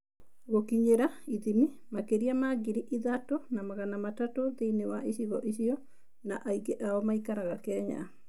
Gũkinyĩra / ithimi: Makĩria ma ngiri ithatũ na magana matatũ thĩinĩ wa icigo icio, na aingĩ ao maikaraga Kenya.